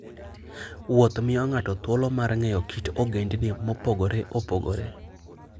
Wuoth miyo ng'ato thuolo mar ng'eyo kit ogendini mopogore opogore.